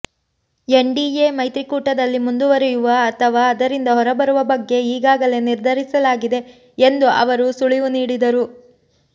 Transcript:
NDA ಮೈತ್ರಿಕೂಟದಲ್ಲಿ ಮುಂದುವರಿಯುವ ಅಥವಾ ಅದರಿಂದ ಹೊರಬರುವ ಬಗ್ಗೆ ಈಗಾಗಲೇ ನಿರ್ಧರಿಸಲಾಗಿದೆ ಎಂದು ಅವರು ಸುಳಿವು ನೀಡಿದರು